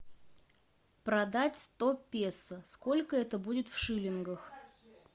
продать сто песо сколько это будет в шиллингах